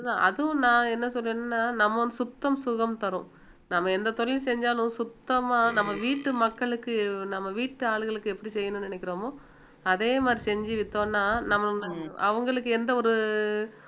அதுவும் நான் என்ன சொல்றேன்னா நம்ம சுத்தம் சுகம் தரும் நம்ம எந்த தொழில் செஞ்சாலும் சுத்தமா நம்ம வீட்டு மக்களுக்கு நம்ம வீட்டு ஆளுகளுக்கு எப்படி செய்யணும்னு நினைக்கிறோமோ அதே மாதிரி செஞ்சு வித்தோம்னா நம்ம அவங்களுக்கு எந்த ஒரு